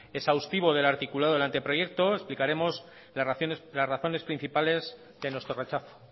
exhaustivo del articulado del anteproyecto explicaremos las razones principales de nuestro rechazo